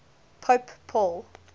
pope paul